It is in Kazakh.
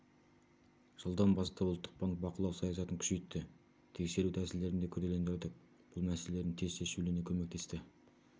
жылдан бастап ұлттық банк бақылау саясатын күшейтті тексеру тәсілдерін де күрделендірдік бұл мәсеселердің тез шешілуіне көмектесті